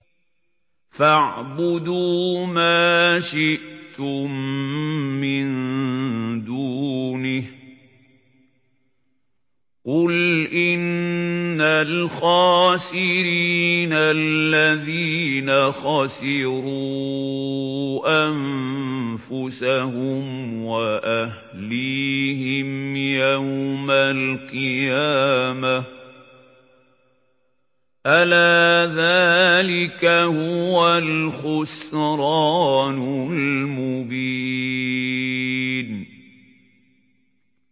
فَاعْبُدُوا مَا شِئْتُم مِّن دُونِهِ ۗ قُلْ إِنَّ الْخَاسِرِينَ الَّذِينَ خَسِرُوا أَنفُسَهُمْ وَأَهْلِيهِمْ يَوْمَ الْقِيَامَةِ ۗ أَلَا ذَٰلِكَ هُوَ الْخُسْرَانُ الْمُبِينُ